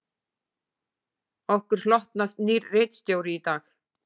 Okkur hlotnast nýr ritstjóri í dag